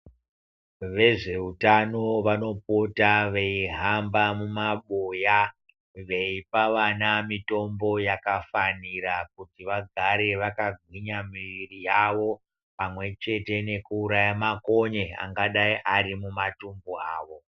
Vezveutano vanopota veihamba mumabuya ,veipa vana mitombo yakafanira, kuti vagare vakagwinya mwiiri yavo, pamwe chete nekuuraya makonye angadai ari mumatumbu mwavo.